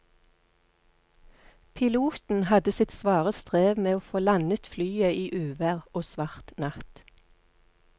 Piloten hadde sitt svare strev med å få landet flyet i uvær og svart natt.